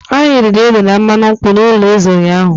Anyị riri ede na mmanụ nkwụ n'ụlọ eze ụnyahụ.